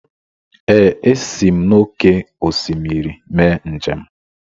Ee, esi m n’oké osimiri mee njem.